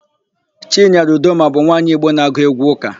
Chinyere Udoma bụ nwaanyị Igbo na-agụ égwụ́ ụ́kà.